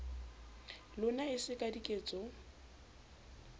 lona e se ka diketso